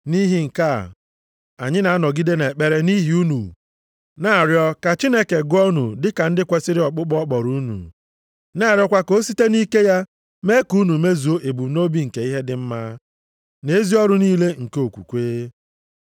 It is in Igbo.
Nʼihi nke a, anyị na-anọgide nʼekpere nʼihi unu, na-arịọ ka Chineke gụọ unu dịka ndị kwesiri ọkpụkpọ ọ kpọrọ unu, na-arịọkwa ka o site nʼike ya mee ka unu mezuo ebumnobi nke ihe dị mma, na ezi ọrụ niile nke okwukwe.